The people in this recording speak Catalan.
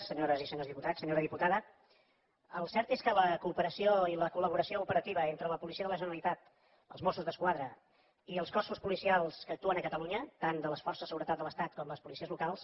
senyores i senyors diputats senyora diputada el cert és que la cooperació i la col·laboració operativa entre la policia de la generalitat els mossos d’esquadra i els cossos policials que actuen a catalunya tant de les forces de seguretat de l’estat com les policies locals